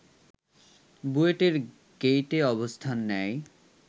বুয়েটের গেইটে অবস্থান নেয়